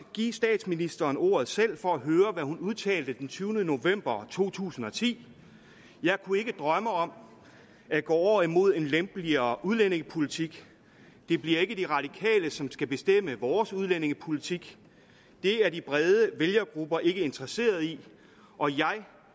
give statsministeren ordet selv for at høre hvad hun udtalte den tyvende november 2010 jeg kunne ikke drømme om at gå over imod en lempeligere udlændingepolitik det bliver ikke de radikale som skal bestemme vores udlændingepolitik det er de brede vælgergrupper ikke interesserede i og jeg